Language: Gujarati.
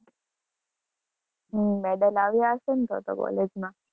હમ medal લાવ્યા હશે ને તો તો college માં.